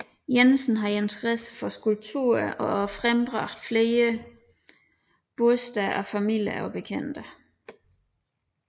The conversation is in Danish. Jensen havde interesse for skulpturer og frembragte flere burster af familier og bekendte